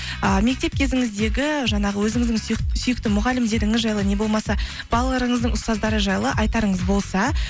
ыыы мектеп кезіңіздегі жаңағы өзіңіздің сүйкті мұғалімдеріңіз жайлы не болмаса балаларыңыздың ұстаздары жайлы айтарыңыз болса